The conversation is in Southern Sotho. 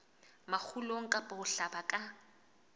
makgulong kapa ho hlaba ka